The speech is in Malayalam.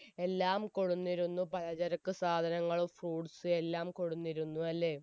എല്ലാം കൊടിന്നിരുന്നു പലചരക്ക് സാധനങ്ങളും fruits ഉം എല്ലാം കൊടുന്നിരുന്നു അല്ലെ